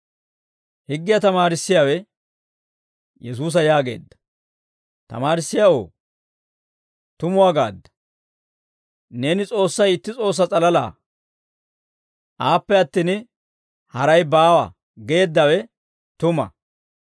Higgiyaa tamaarissiyaawe Yesuusa yaageedda; «Tamaarissiyaawoo, tumuwaa gaadda; neeni ‹S'oossay itti S'oossaa s'alala. Aappe attin, haray baawa› geeddawe tuma.